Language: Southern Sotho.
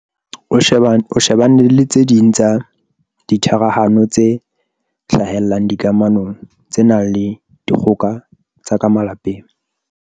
o shebane le tse ding tsa ditharahano tse hlahellang dikamanong tse nang le dikgoka tsa ka malapeng.